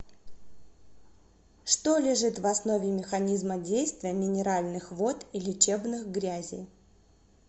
что лежит в основе механизма действия минеральных вод и лечебных грязей